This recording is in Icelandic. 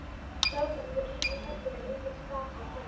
Sjálfsagt voru ýmsir hræddir, en enginn gaf sig fram.